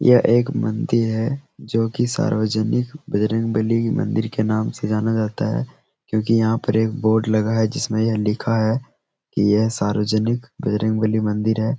ये एक मंदिर है जो की सार्वजनिक बजरंगबली के मंदिर के नाम से जाना जाता है क्यूकी यहाँ पर एक बोर्ड लगा है जिसमे ये लिखा है के सार्वजनिक बजरंगबली मंदिर है।